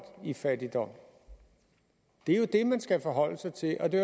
i fattigdom det er jo det man skal forholde sig til og det